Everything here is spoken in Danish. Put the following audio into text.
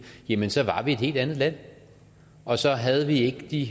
jamen så var vi et helt andet land og så havde vi ikke de